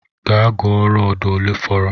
Gaa gụọ rọdu olee fọrọ!